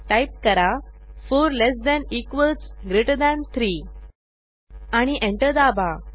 type करा 4 less than equals greater than 3 आणि enter दाबा